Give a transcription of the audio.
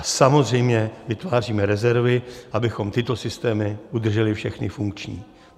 A samozřejmě vytváříme rezervy, abychom tyto systémy udrželi všechny funkční.